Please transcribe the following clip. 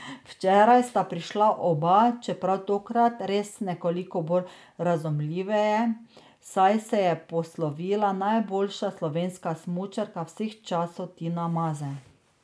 Včeraj sta prišla oba, čeprav tokrat res nekoliko bolj razumljiveje, saj se je poslovila najboljša slovenska smučarka vseh časov Tina Maze.